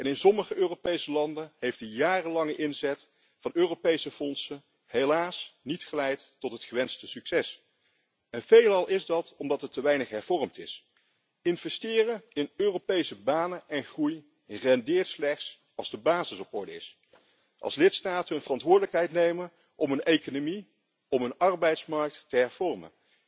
In sommige Europese landen heeft de jarenlange inzet van Europese fondsen helaas niet geleid tot het gewenste succes en veelal is dat omdat er te weinig hervormd is. Investeren in Europese banen en groei rendeert slechts als de basis op orde is, als lidstaten hun verantwoordelijkheid nemen om hun economie en hun arbeidsmarkt te hervormen.